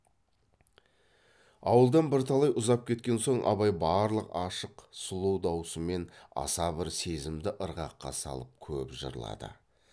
ауылдан бірталай ұзап кеткен соң абай барлық ашық сұлу даусымен аса бір сезімді ырғаққа салып көп жырлады